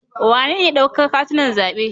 Wanene ya dauka katunan zaɓe?